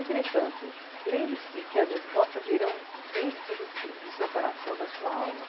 Entretanto, lembre-se que as respostas irão dentro de você, do seu coração, da sua alma.